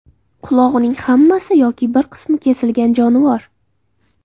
Qulog‘ining hammasi yoki bir qismi kesilgan jonivor.